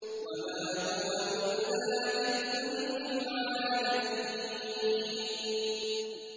وَمَا هُوَ إِلَّا ذِكْرٌ لِّلْعَالَمِينَ